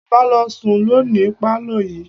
Bàbá ló sùn lọ ní pálọ̀ yìí.